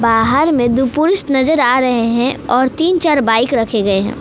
बाहर में दो पुरुष नजर आ रहे हैं और तीन चार बाइक रखे गए हैं।